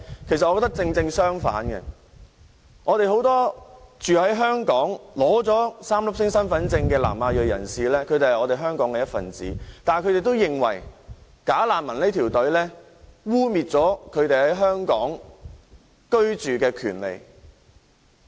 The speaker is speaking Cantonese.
我覺得恰好相反，很多居住在香港並已領取 "3 粒星"身份證的南亞裔人士是香港的一分子，但是，他們也認為"假難民"的申請隊伍會影響他們在香港居住的權利。